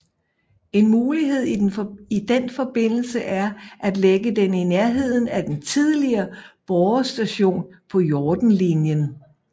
En mulighed i den forbindelse er at lægge den i nærheden af den tidligere Borre Station på Hortenlinjen